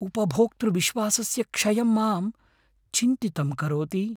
उपभोक्तृविश्वासस्य क्षयं मां चिन्तितं करोति।